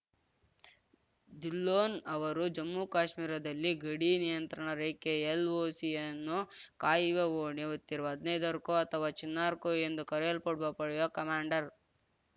ಧಿಲ್ಲೋನ್‌ ಅವರು ಜಮ್ಮು ಕಾಶ್ಮೀರದಲ್ಲಿ ಗಡಿ ನಿಯಂತ್ರಣ ರೇಖೆ ಎಲ್‌ಒಸಿಯನ್ನು ಕಾಯುವ ಹೊಣೆ ಹೊತ್ತಿರುವ ಹದ್ನೈದು ಕೋ ಅಥವಾ ಚಿನಾರ್‌ ಕೋ ಎಂದು ಕರೆಯಲ್ಪಡುವ ಪಡೆಯ ಕಮಾಂಡರ್‌